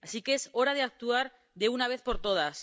Así que es hora de actuar de una vez por todas.